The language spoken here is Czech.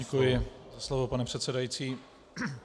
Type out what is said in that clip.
Děkuji za slovo, pane předsedající.